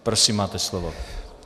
Prosím, máte slovo.